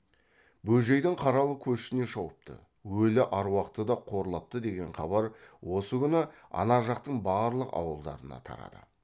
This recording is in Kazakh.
бөжейдің қаралы көшіне шауыпты өлі аруақты да қорлапты деген хабар осы күні ана жақтың барлық ауылдарына тарады